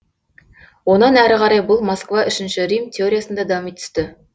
онан әрі қарай бұл москва үшінші рим теориясында дами түсті